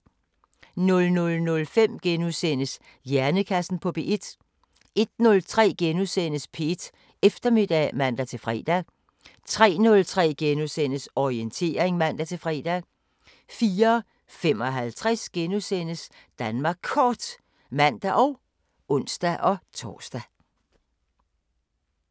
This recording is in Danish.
00:05: Hjernekassen på P1 * 01:03: P1 Eftermiddag *(man-fre) 03:03: Orientering *(man-fre) 04:55: Danmark Kort *(man og ons-tor)